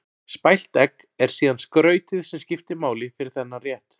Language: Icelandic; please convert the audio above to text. Spælt egg er síðan skrautið sem skiptir máli fyrir þennan rétt.